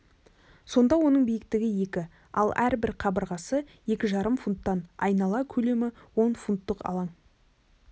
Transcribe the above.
сонда оның биіктігі екі ал әрбір қабырғасы екі жарым футтан айнала көлемі он футтық алаң